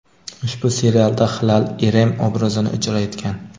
Ushbu serialda Hilal Irem obrazini ijro etgan.